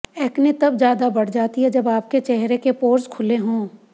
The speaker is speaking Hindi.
एक्ने तब ज्यादा बढ़ जाती है जब आपके चेहरे के पोर्स खुले हों